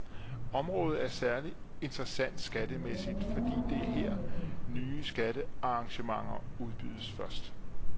Området er særligt interessant skattemæssigt, fordi det er her, nye skattearrangementer udbydes først.